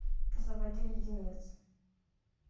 заводи леденец